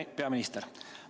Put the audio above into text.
Hea peaminister!